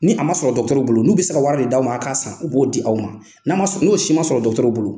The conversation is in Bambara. Ni a ma sɔrɔ dɔgɔtɔrɔw bolo n'u bɛ se ka wari min d'aw ma a k'a san u b'o di aw ma n'o si ma sɔrɔ dɔgɔtɔrɔw bolo.